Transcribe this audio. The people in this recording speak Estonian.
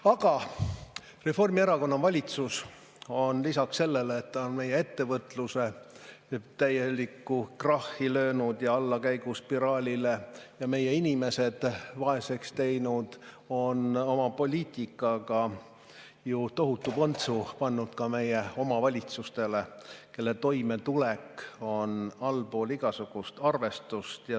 Aga Reformierakonna valitsus on lisaks sellele, et ta on meie ettevõtluse täielikku krahhi löönud ja allakäiguspiraalile ja meie inimesed vaeseks teinud, oma poliitikaga ju tohutu põntsu pannud ka meie omavalitsustele, kelle toimetulek on allpool igasugust arvustust.